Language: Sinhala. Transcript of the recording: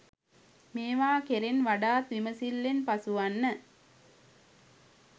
මේවා කෙරෙන් වඩාත් විමසිල්ලෙන් පසු වන්න.